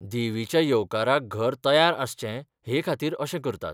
देवीच्या येवकाराक घर तयार आसचें हे खातीर अशें करतात.